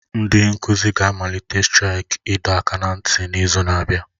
Ndị nkuzi ga-amalite straiki ịdọ aka ná ntị n'izu na-abịa